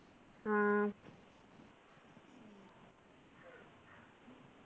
ആഹ്